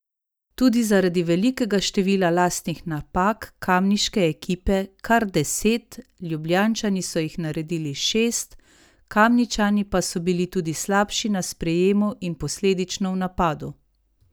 Tudi zaradi velikega števila lastnih napak kamniške ekipe, kar deset, Ljubljančani so jih naredili šest, Kamničani pa so bili tudi slabši na sprejemu in posledično v napadu.